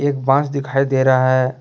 एक बांस दिखाई दे रहा हैं।